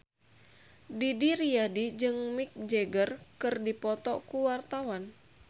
Didi Riyadi jeung Mick Jagger keur dipoto ku wartawan